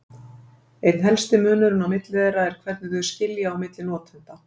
Einn helsti munurinn á milli þeirra er hvernig þau skilja á milli notenda.